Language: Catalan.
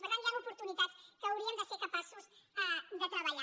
per tant hi han oportunitats que hauríem de ser capaços de treballar